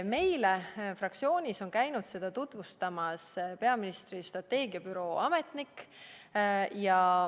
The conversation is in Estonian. Meile fraktsioonis käis seda tutvustamas peaministri strateegiabüroo ametnik.